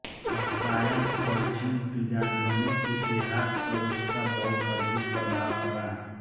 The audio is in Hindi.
रसायन और जीवविज्ञान दोनों के इतिहास पर उसका बहुत अधिक प्रभाव पड़ा